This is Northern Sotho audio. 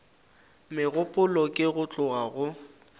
megopolo ke go tloga go